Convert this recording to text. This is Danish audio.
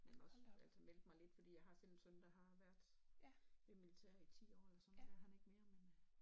Men også altså meldte mig lidt fordi jeg har selv en søn der har været ved militæret i ti år eller sådan noget det er han ikke mere men øh